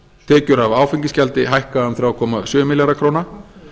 tekjur af áfengisgjaldi hækka um þrjú komma sjö milljarða króna